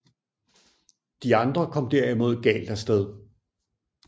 De andre kom derimod galt af sted